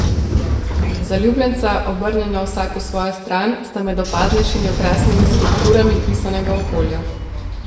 Zaljubljenca, obrnjena vsak v svojo stran, sta med opaznejšimi okrasnimi skulpturami pisanega okolja.